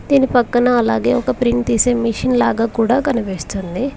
దీని పక్కన అలాగే ఒక ప్రింట్ తీసే మెషిన్ లాగా కూడా కనిపిస్తుంది.